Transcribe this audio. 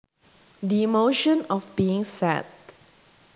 The emotion of being sad